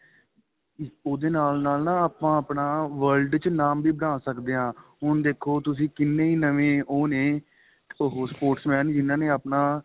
ਉਹਦੇ ਨਾਲ ਨਾਲ ਨਾ ਆਪਾ ਆਪਣਾ world ਚ ਨਾਂਮ ਬਣਾ ਸਕਦੇ ਹਾਂ ਹੁਣ ਦੇਖੋ ਤੁਸੀਂ ਕਿੰਨੇ ਨਵੇਂ ਉਹ ਨੇ sports man ਜਿਹਨਾਂ ਨੇ ਆਪਣਾ